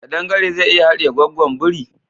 Kadan gare zai iya haɗiye gwaggon biri?